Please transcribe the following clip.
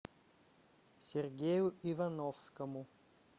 сергею ивановскому